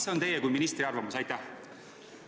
Mis on teie kui ministri arvamus?